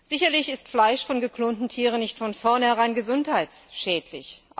Sicherlich ist Fleisch von geklonten Tieren nicht von vornherein gesundheitsschädlich.